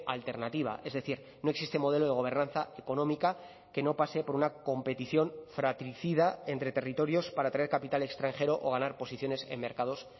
alternativa es decir no existe modelo de gobernanza económica que no pase por una competición fratricida entre territorios para traer capital extranjero o ganar posiciones en mercados